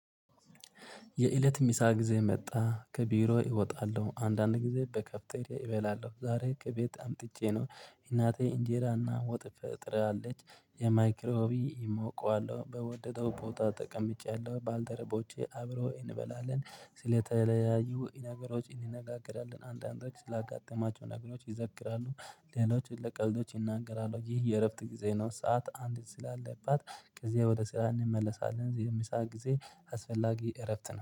የእለት ምሳ ጊዜ መጣ ከቢሮ እወጣለሁ አንዳንድ ጊዜ በካፍቴሪያ እበላለሁ ዛሬ ከቤት አምጥቼ ነው እናቴ እንጀራና ወጥ ትቋጥራለች በማይክሮ ዌቭ እሞቀዋለሁ በወደደው ቦታ ተቀምጫለሁ። ባልደረቦቼ አብሮ እንበላለን ስለተለያዩ ነገሮች እንነጋገራለን አንዳንዶች ላጋጠማቸው ነገሮች ይዘክራሉ። ሌሎችን ለቀልዶች እናንገራለን ይህ የእረፍት ጊዜ ነው። ሰዓት አንዲት ስላለባት ከዚያ ወደ ስራ እንመለሳለን። የምሳ ጊዜ አስፈላጊ እረፍት ነው